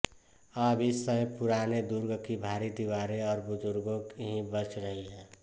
अब इस समय पुराने दुर्ग की भारी दीवारें और बुर्जे ही बच रही हैं